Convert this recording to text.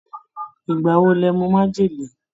Ìgbà wo ló mu májèlé?